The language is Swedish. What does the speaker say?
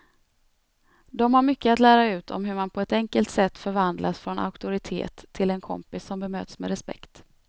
De har mycket att lära ut om hur man på ett enkelt sätt förvandlas från auktoritet till en kompis som bemöts med respekt.